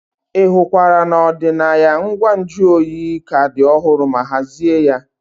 Ị hụkwara na ọdịnaya ngwa nju oyi ka dị ọhụrụ ma hazie ya.